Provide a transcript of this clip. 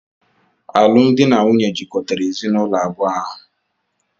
Alụmdi na nwunye jikọrọ ezinụlọ abụọ ahụ.